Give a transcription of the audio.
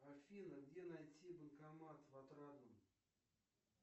афина где найти банкомат в отрадном